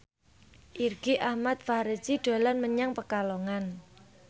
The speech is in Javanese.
Irgi Ahmad Fahrezi dolan menyang Pekalongan